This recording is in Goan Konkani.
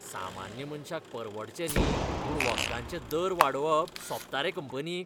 सामान्य मनशाक परवडचे न्ही म्हूण वखदांचे दर वाडोवप सोबता रे कंपनीक?